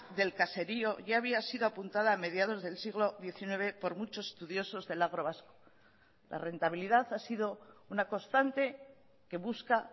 del caserío ya había sido apuntada a mediados del siglo diecinueve por muchos estudiosos del agro vasco la rentabilidad ha sido una constante que busca